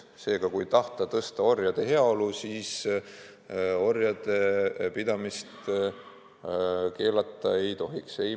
Seega, kui tahta orjade heaolu parandada, siis orjade pidamist keelata ei maksa.